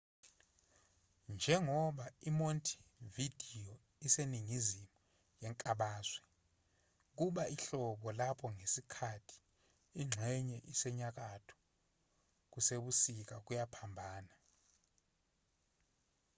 njengoba i-montevideo iseningizimu yenkabazwe kuba ihlobo lapho ngesikhathi ingxenye esenyakatho kusebusika kuyaphambana